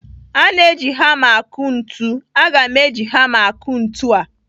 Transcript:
A na-eji hama akụ ntu. Aga m eji hama akụ ntu a.